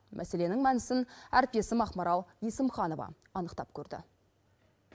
мәселенің мәнісін әріптесім ақмарал есімханова анықтап көрді